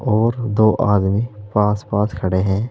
और दो आदमी पास पास खड़े हैं।